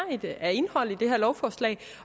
af indhold i det her lovforslag